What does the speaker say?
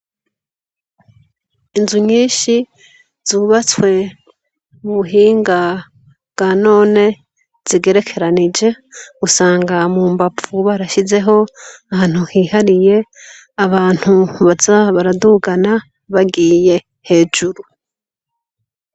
Inzu nyinshi zubatswe mubuhinga bwa none , zigerekeranije, usanga mumbavu barashizeho ahantu hihariye, abantu baza baradugana, bagiye hejuru.